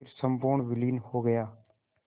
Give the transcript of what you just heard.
फिर संपूर्ण विलीन हो गया